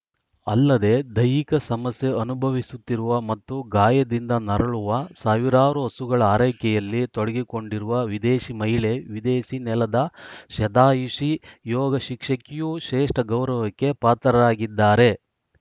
ಅಲ್ಲದೆ ದೈಹಿಕ ಸಮಸ್ಯೆ ಅನುಭವಿಸುತ್ತಿರುವ ಮತ್ತು ಗಾಯದಿಂದ ನರಳುವ ಸಾವಿರಾರು ಹಸುಗಳ ಆರೈಕೆಯಲ್ಲಿ ತೊಡಗಿಕೊಂಡಿರುವ ವಿದೇಶಿ ಮಹಿಳೆ ವಿದೇಶಿ ನೆಲದ ಶತಾಯುಷಿ ಯೋಗ ಶಿಕ್ಷಕಿಯೂ ಶ್ರೇಷ್ಠ ಗೌರವಕ್ಕೆ ಪಾತ್ರರಾಗಿದ್ದಾರೆ